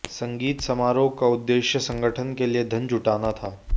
संगीत समारोह का उद्देश्य संगठन के लिए धन जुटाना था